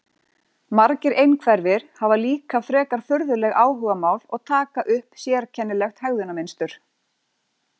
Margir einhverfir hafa líka frekar furðuleg áhugamál og taka upp sérkennilegt hegðunarmynstur.